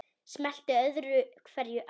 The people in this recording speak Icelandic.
Smellti öðru hverju af.